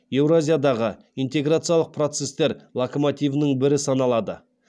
еуразиядағы интеграциялық процестер локомативінің бірі саналады